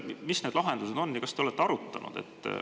Mis need lahendused on, kas te olete seda arutanud?